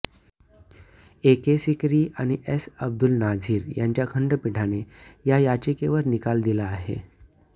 ए K Sikri आणि S Abdul Nazeer यांच्या खंडपीठाने या याचिकेवर निकाल दिला आहे